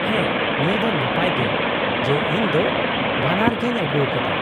-ᱦᱮᱸ, ᱱᱤᱭᱟᱹ ᱫᱚ ᱱᱟᱯᱟᱭ ᱜᱮ ᱡᱮ ᱤᱧ ᱫᱚ ᱵᱷᱟᱱᱟᱨ ᱜᱤᱧ ᱟᱹᱜᱩᱣᱟᱠᱟᱫᱟ ᱾